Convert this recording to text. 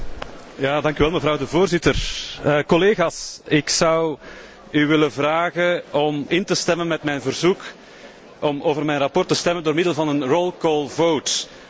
Mevrouw de Voorzitter, collega's, ik zou u willen vragen om in te stemmen met mijn verzoek om over mijn verslag te stemmen door middel van een hoofdelijke stemming.